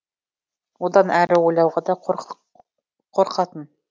одан әрі ойлауға да қорқатын